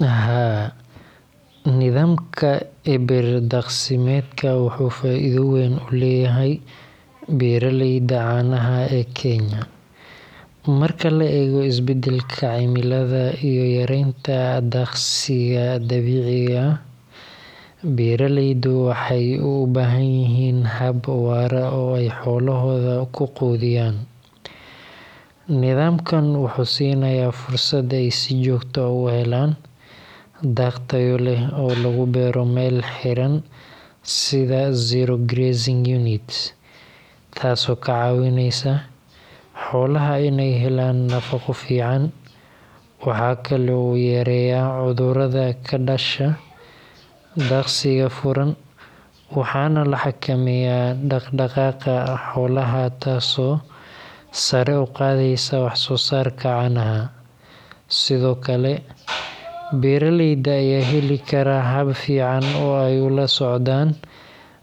Haa, nidaamka eber daaqsimeedku wuxuu faa’iido weyn u leeyahay beeraleyda caanaha ee Kenya. Marka la eego isbeddelka cimilada iyo yaraanta daaqsiga dabiiciga ah, beeraleydu waxay u baahan yihiin hab waara oo ay xoolahooda ku quudiyaan. Nidaamkan wuxuu siinayaa fursad ay si joogto ah u helaan daaq tayo leh oo lagu beero meel xiran sida zero grazing units, taasoo ka caawinaysa xoolaha inay helaan nafaqo fiican. Waxa kale oo uu yareeyaa cudurrada ka dhasha daaqsiga furan, waxaana la xakameeyaa dhaq-dhaqaaqa xoolaha taasoo sare u qaadaysa wax-soo-saarka caanaha. Sidoo kale, beeraleyda ayaa heli kara hab fiican oo ay ula socdaan